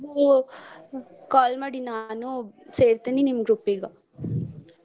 ನನ್ಗು call ಮಾಡಿ ನಾನು ಸೇರ್ತೆನಿ ನಿಮ್ಮ್ group ಗ .